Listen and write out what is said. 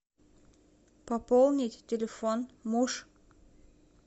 пополнить телефон муж